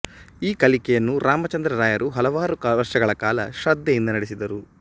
ಈ ಕಲಿಕೆಯನ್ನು ರಾಮಚಂದ್ರ ರಾಯರು ಹಲವಾರು ವರ್ಷಗಳ ಕಾಲ ಶ್ರದ್ಧೆಯಿಂದ ನಡೆಸಿದರು